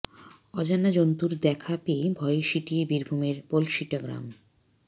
অজানা জন্তুর দেখা পেয়ে ভয়ে সিঁটিয়ে বীরভূমের পলসিটা গ্রাম